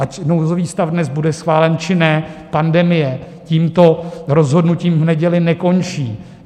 Ať nouzový stav dnes bude schválen, či ne, pandemie tímto rozhodnutím v neděli nekončí.